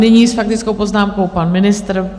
Nyní s faktickou poznámkou pan ministr.